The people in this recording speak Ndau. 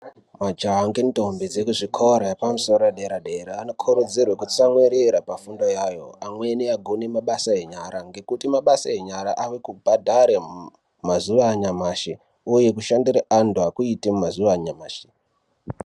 Majaha ngentombi dzekuzvikora yepamusoro yedera dera anokurudzirwe kutsamwirira pafundo yayo amweni agone mabasa enyara ngekuti mabasa enyara ari kubhadhare mumazuva anyamashi uye kushandire antu akuiti mumazuva anyamashi.